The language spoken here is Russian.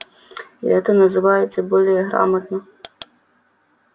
и это называется более грамотно